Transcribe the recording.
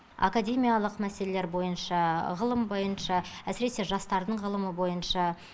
академиялық мәселелер бойынша ғылым бойынша әсіресе жастардың ғылымы бойынша